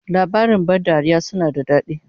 Labarin ban dariya suna da dadi